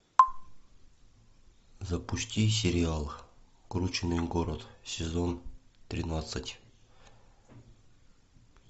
запусти сериал крученый город сезон тринадцать